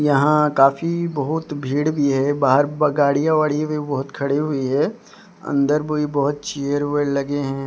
यहां काफी बहोत भीड़ भी है बाहर गाड़ियां वाडीया भी बहोत खड़ी हुई है अंदर भी बहोत चेयर वेयर लगे हैं।